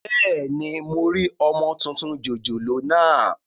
Bẹ́ẹ̀ni, mo rí ọmọ tuntun jòjòló naa